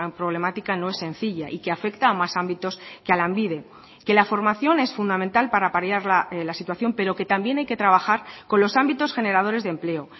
problemática no es sencilla y que afecta a más ámbitos que a lanbide que la formación es fundamental para paliar la situación pero que también hay que trabajar con los ámbitos generadores de empleo